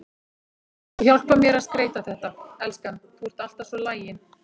Þú hjálpar mér að skreyta þetta, elskan, þú ert alltaf svo lagin.